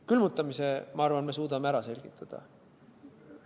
Külmutamise, ma arvan, me suudame ära selgitada.